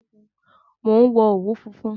Mo ń wo òwú funfun